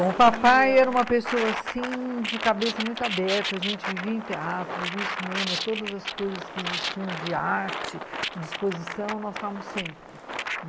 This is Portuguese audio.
Então, o papai era uma pessoa, assim, de cabeça muito aberta, a gente vivia em teatro, vivia em cinema, todas as coisas que existiam de arte, de exposição, nós estávamos sempre.